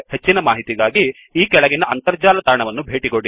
ಹೆಚ್ಚಿನ ಮಾಹಿತಿಗಾಗಿ ಈ ಕೆಳಗಿನ ಅಂತರ್ಜಾಲ ತಾಣವನ್ನು ಭೇಟಿಕೊಡಿ